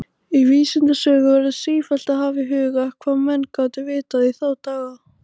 Í vísindasögu verður sífellt að hafa í huga, hvað menn gátu vitað í þá daga.